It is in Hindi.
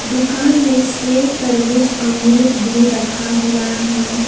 दुकान में सेव तरबूज अमरुद भी रखा हुआ है।